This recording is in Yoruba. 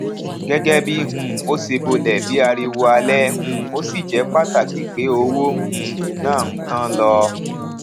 gẹgẹ bí um o ṣe bolè bí ariwo alè um o sì jé pàtàkì pe owó um náà n tán lọ